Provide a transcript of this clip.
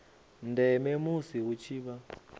ndeme musi hu tshi vha